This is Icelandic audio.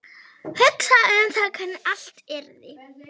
Hugsaði um það hvernig allt yrði.